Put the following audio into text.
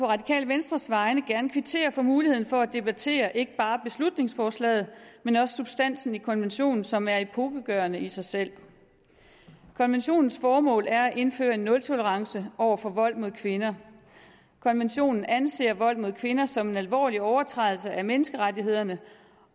radikale venstres vegne gerne kvittere for muligheden for at debattere ikke bare beslutningsforslaget men også substansen i konventionen som er epokegørende i sig selv konventionens formål er at indføre en nultolerance over for vold mod kvinder konventionen anser vold mod kvinder som en alvorlig overtrædelse af menneskerettighederne